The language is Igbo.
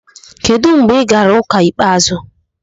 Kedu mgbe ị gara ụka ikpeazụ?